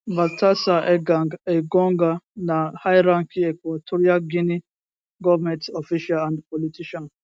baltasar ebang engonga na highranking equatorial guinean goment official and politician